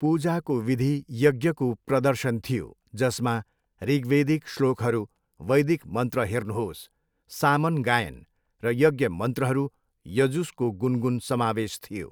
पूजाको विधि यज्ञको प्रदर्शन थियो जसमा ऋग्वेदिक श्लोकहरू वैदिक मन्त्र हेर्नुहोस्, सामन गायन र यज्ञ मन्त्रहरू, यजुसको 'गुनगुन' समावेश थियो।